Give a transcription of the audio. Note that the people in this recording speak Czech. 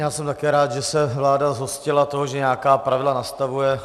Já jsem také rád, že se vláda zhostila toho, že nějaká pravidla nastavuje.